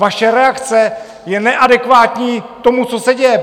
Vaše reakce je neadekvátní tomu, co se děje!